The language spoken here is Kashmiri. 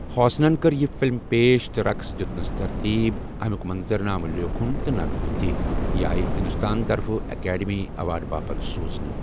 ہاسنن کٔر یہِ فِلم پیش تہٕ رقس دیتنس ترتیب، امیک منظرنامہٕ لیوٗکھن تہٕ نغمہٕ تہِ، یہِ آیہ ہِندوستان طرفہٕ ایکڈمی ایواڈٕ باپتھ سوزنہٕ ۔